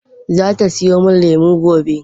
Zata siyo min lemu gobe.